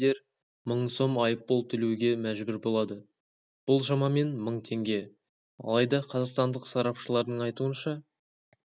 ескертуді елемегендер мың сом айыппұл төлеуге мәжбүр болады бұл шамамен мың теңге алайда қазақстандық сарапшылардың айтуынша